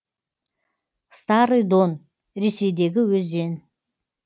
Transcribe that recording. старый дон ресейдегі өзен